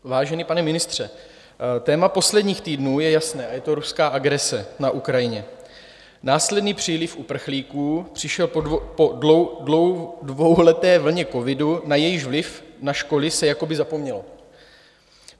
Vážený pane ministře, téma posledních týdnů je jasné, a je to ruská agrese na Ukrajině, následný příliv uprchlíků přišel po dvouleté vlně covidu, na jejíž vliv na školy se jakoby zapomnělo.